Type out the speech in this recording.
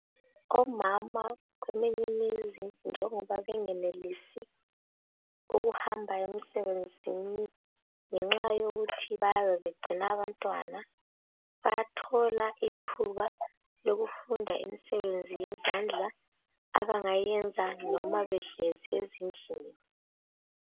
Omama kweminye imizi njengoba bengenelisi ukuhamba emsebenzini ngenxa yokuthi bayabe begcina abantwana bayathola ithuba lokufunda imisebenzi yezandla abangayenza noma behlezi ezindlini.